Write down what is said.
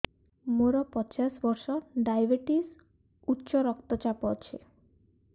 ମୋର ପଚାଶ ବର୍ଷ ଡାଏବେଟିସ ଉଚ୍ଚ ରକ୍ତ ଚାପ ଅଛି